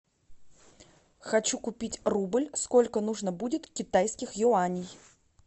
хочу купить рубль сколько нужно будет китайских юаней